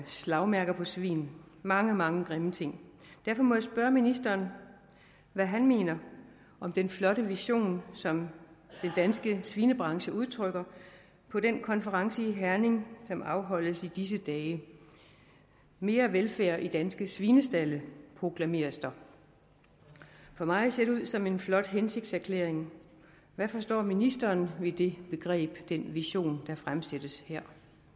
slagmærker på svin mange mange grimme ting derfor må jeg spørge ministeren hvad han mener om den flotte vision som den danske svinebranche udtrykker på den konference i herning som afholdes i disse dage mere velfærd i danske svinestalde proklameres der for mig ser det ud som en flot hensigtserklæring hvad forstår ministeren ved det begreb den vision der fremsættes her